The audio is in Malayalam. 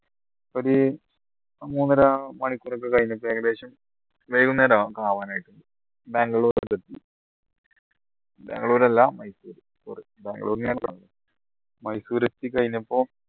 ഒരു മൂന്നര മണിക്കൂർ ഒക്കെ കഴിഞ്ഞപ്പോ ഏകദേശം വൈകുന്നേരമൊക്കെ ആവാനായിട്ടുണ്ട് ബാംഗ്ലൂര് ബാംഗ്ലൂർ അല്ല മൈസൂര്‍ മൈസൂര് എത്തിക്കഴിഞ്ഞപ്പോ